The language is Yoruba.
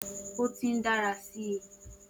O ti n dara si.